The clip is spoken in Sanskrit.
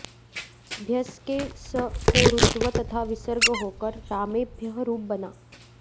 भ्यस् के स् को रुत्व तथा विसर्ग होकर रामेभ्यः रूप बना